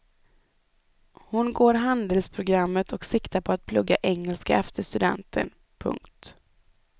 Hon går handelsprogrammet och siktar på att plugga engelska efter studenten. punkt